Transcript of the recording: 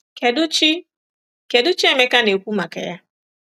Kedụ Chi Kedụ Chi Emeka na-ekwu maka ya?